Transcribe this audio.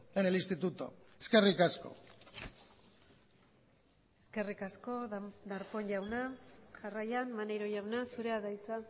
en el instituto eskerrik asko eskerrik asko darpón jauna jarraian maneiro jauna zurea da hitza